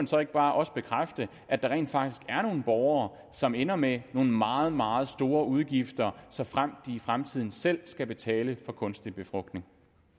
så ikke bare også bekræfte at der rent faktisk er nogle borgere som ender med nogle meget meget store udgifter såfremt de i fremtiden selv skal betale for kunstig befrugtning